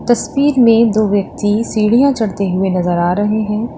तस्वीर में दो व्यक्ति सीढ़ियाँ चढ़ते हुए नज़र आ रहे हैं।